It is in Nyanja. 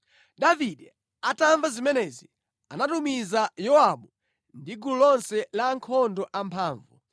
Davide atamva zimenezi, anatumiza Yowabu ndi gulu lonse la ankhondo amphamvu.